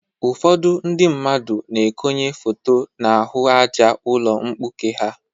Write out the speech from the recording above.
Ụfọdụ ndị mmadụ na-ekonye foto n'ahụ àjá ụlọ mkpuke ha.